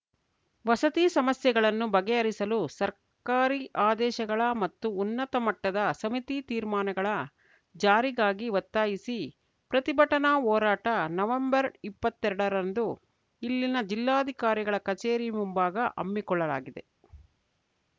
ವಸತಿ ಸಮಸ್ಯೆಗಳನ್ನು ಬಗೆಹರಿಸಲು ಸರ್ಕಾರಿ ಆದೇಶಗಳ ಮತ್ತು ಉನ್ನತ ಮಟ್ಟದ ಸಮಿತಿ ತೀರ್ಮಾನಗಳ ಜಾರಿಗಾಗಿ ಒತ್ತಾಯಿಸಿ ಪ್ರತಿಭಟನಾ ಹೋರಾಟ ನವೆಂಬರ್ಇಪ್ಪತ್ತೆರಡರಂದು ಇಲ್ಲಿನ ಜಿಲ್ಲಾಧಿಕಾರಿಗಳ ಕಚೇರಿ ಮುಂಭಾಗ ಹಮ್ಮಿಕೊಳ್ಳಲಾಗಿದೆ